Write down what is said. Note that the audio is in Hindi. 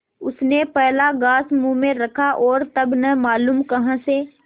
उसने पहला ग्रास मुँह में रखा और तब न मालूम कहाँ से